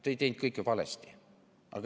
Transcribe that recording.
Te ei teinud kõike valesti.